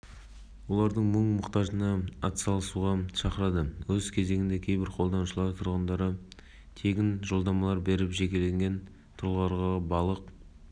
қолданушылар арасында түсіндіру жұмыстарын жүргізуде атап айтқанда су қоймаларының жағалаулары маңындағы елді мекен тұрғындармен ынтымақтастықта болып